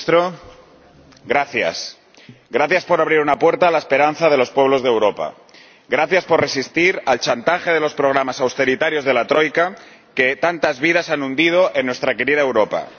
Señora Presidenta, señor Primer Ministro, gracias por abrir una puerta a la esperanza de los pueblos de Europa gracias por resistir al chantaje de los programas austeritarios de la Troika, que tantas vidas han hundido en nuestra querida Europa